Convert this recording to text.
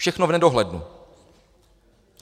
Všechno v nedohlednu.